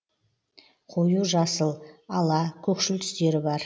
қою жасыл ала көкшіл түстері бар